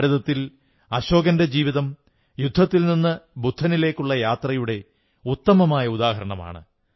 ഭാരതത്തിൽ അശോകന്റെ ജീവിതം യുദ്ധത്തിൽ നിന്നു ബുദ്ധനിലേക്കുള്ള യാത്രയുടെ ഉത്തമമായ ഉദാഹരണമാണ്